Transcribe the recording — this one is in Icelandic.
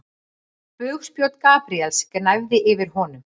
Bugspjót Gabríels gnæfði yfir honum.